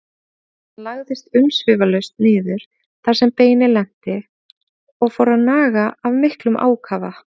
Hann lagðist umsvifalaust niður þar sem beinið lenti og fór að naga af miklum ákafa.